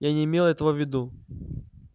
я не имел этого в виду